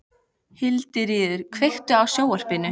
Hildiríður, kveiktu á sjónvarpinu.